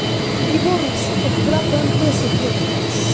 реборн сука когда пмт сольёшь блядь